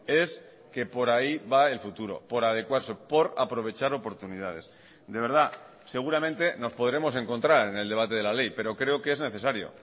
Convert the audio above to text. es que por ahí va el futuro por adecuarse por aprovechar oportunidades de verdad seguramente nos podremos encontrar en el debate de la ley pero creo que es necesario